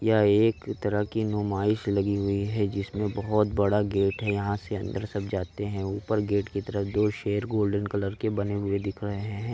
ये एक तरह की नुमाइश लगी हुई है जिसमे बहुत बड़ा गेट है यहाँ से अंदर सब जाते है ऊपर गेट की तरफ दो शेर गोल्डन कलर के बने हुए दिख रहै हैं।